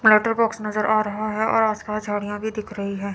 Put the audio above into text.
Letter box नजर आ रहें हैं और आस पास झाड़ियां भी दिख रही है।